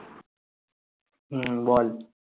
হম বল।